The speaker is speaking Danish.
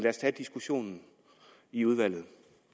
os tage diskussionen i udvalget